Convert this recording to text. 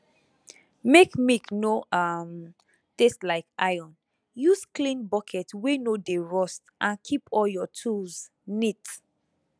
make milk no um taste like iron use clean bucket wey no dey rust and keep all your tools neat